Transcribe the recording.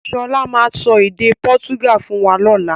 Sọlá máa sọ èdè pọ́túgà fún wa lọ́la.